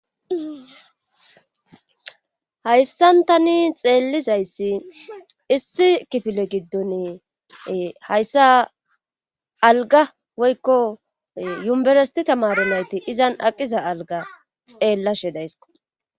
Hayssan tani xeellizayssi issi kifile giddoni hayssa algga woykko umbberetti tamaare nayti izan aqiza algga izan xeellishe days